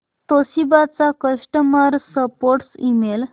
Toshiba चा customer support email